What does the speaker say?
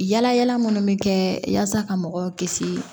Yala yala minnu bɛ kɛ yasa ka mɔgɔw kisi